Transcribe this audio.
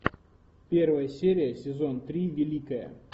первая серия сезон три великая